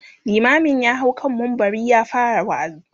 limamin ya hau kan mumbari ya fara waazi